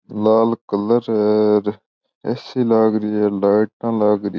लाल colour है ए सी लग रही है लाइट लग रही है।